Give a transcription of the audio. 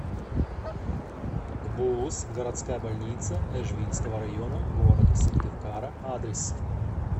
гбуз городская больница эжвинского района г сыктывкара адрес